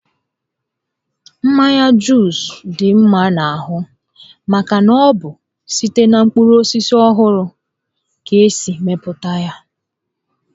Mmanya Juus dị mma n'ahụ maka na ọ bụ site na mkpụrụ osisi ọhụrụ ka esi mepụta ya